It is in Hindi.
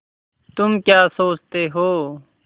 तुम क्या सोचते हो